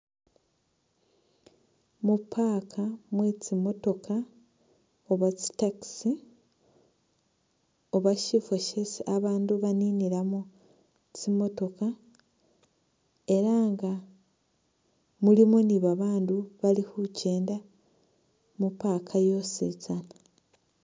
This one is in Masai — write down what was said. Mu park mwe tsimotokha oba tsi taxi oba syifwo syesi abaandu baninilamu tsimotokha ela nga mulimo ni babaandu bali khukenda mu park yositsana.